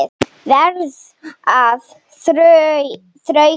Verð að þrauka.